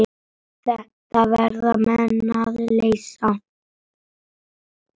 Þetta verða menn að leysa.